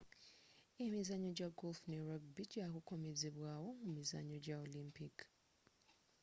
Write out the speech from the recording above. emizannyo ja golf ne rubgy gya kukomezebwa wo mu mizannyo gya olympic